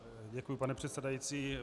Děkuji, pane předsedající.